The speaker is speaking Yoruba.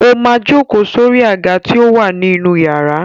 Ó máa jókòó sórí àga tí ó wà ní inú iyàrá.